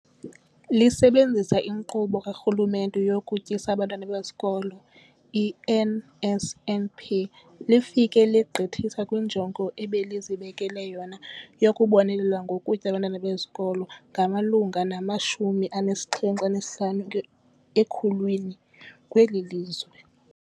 Lisebenzisa iNkqubo kaRhulumente yokuTyisa Abantwana Ezikolweni, i-NSNP, lifike legqithisa kwinjongo ebelizibekele yona yokubonelela ngokutya abantwana besikolo abamalunga nama-75 ekhulwini kweli lizwe.